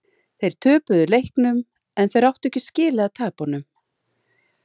Þeir töpuðu leiknum en þeir áttu ekki skilið að tapa honum.